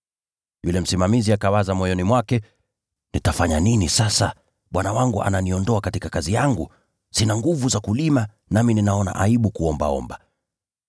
“Yule msimamizi akawaza moyoni mwake, ‘Nitafanya nini sasa? Bwana wangu ananiondoa katika kazi yangu. Sina nguvu za kulima, nami ninaona aibu kuombaomba.